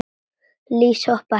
Lýs hoppa ekki.